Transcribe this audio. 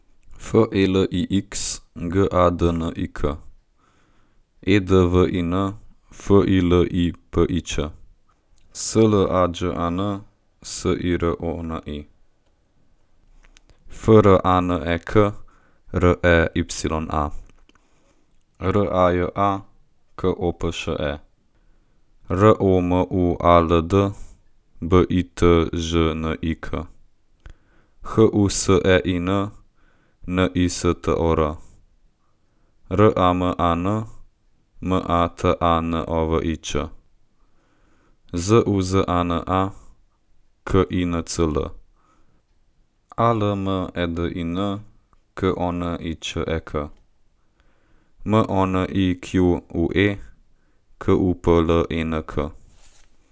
Felix Gadnik, Edwin Filipić, Slađan Sironi, Franek Reya, Raja Kopše, Romuald Bitežnik, Husein Nistor, Raman Matanović, Zuzana Kincl, Almedin Koniček, Monique Kuplenk.